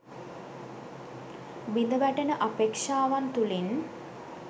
බිඳවැටෙන අපේක්‍ෂාවන් තුළින්